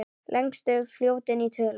Lengstu fljótin í tölum